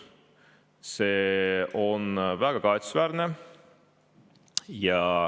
See on väga kahetsusväärne.